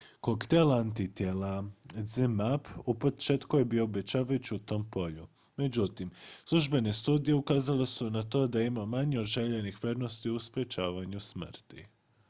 koktel antitijela zmapp u početku je bio obećavajući u tom polju međutim službene studije ukazale su na to da je imao manje od željenih prednosti u sprječavanju smrti